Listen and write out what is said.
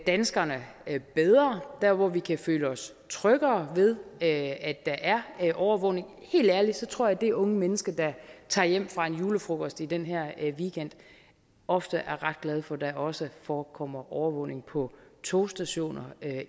danskerne bedre dér hvor vi kan føle os tryggere ved at der er overvågning helt ærligt tror jeg at det unge menneske der tager hjem fra en julefrokost i den her weekend ofte er ret glad for at der også forekommer overvågning på togstationer